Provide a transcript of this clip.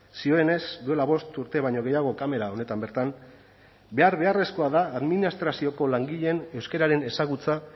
zioenez duela bost urte baino gehiago kamera honetan bertan behar beharrezkoa da administrazioko langileen euskararen ezagutza